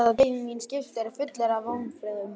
Þar beið mín skipstjóri fullur af vonbrigðum.